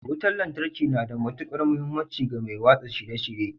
Wutar lantarki na da matukar muhimmanci ga mai watsa shirye-shirye